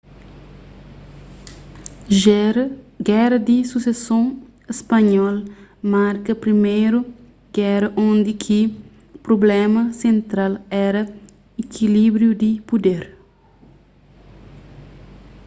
géra di suseson spanhol marka priméru géra undi ki prubléma sentral éra ikilíbriu di puder